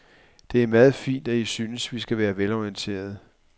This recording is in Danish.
Det er meget fint, at I synes, vi skal være velorienterede.